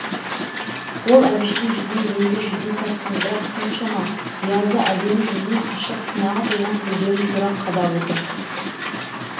ол әбіштің жүзіне енді жүдең тартқан бірақ соншама биязы әдемі жүзіне ашық кінәға толған көздерін тура қадап отыр